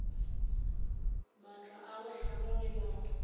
maatla a go hlama melao